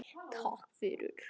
Takk fyrir